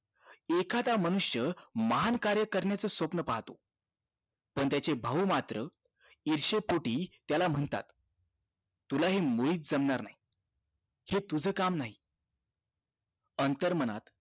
एखादा मनुष्य महान कार्य करण्याचं स्वप्न पाहतो पण त्याचे भाऊ मात्र इर्शेपोटी त्याला म्हणतात तूला हे मुळीच जमणार नाही हे तुझं काम नाही अंतरमनात